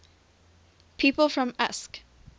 people from usk